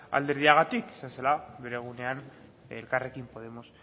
alderdiagatik zela bere egunean elkarrekin podemos